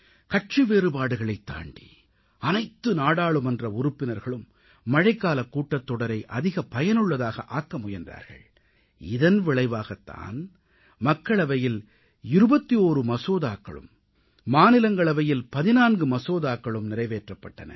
கட்சி வேறுபாடுகளைத் தாண்டி அனைத்து நாடாளுமன்ற உறுப்பினர்களும் மழைக்காலக் கூட்டத்தொடரை அதிக பயனுள்ளதாக ஆக்க முயன்றார்கள் இதன் விளைவாகத் தான் மக்களவையில் 21 மசோதாக்களும் மாநிலங்களவையில் 14 மசோதாக்களும் நிறைவேற்றப்பட்டன